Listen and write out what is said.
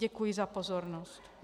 Děkuji za pozornost.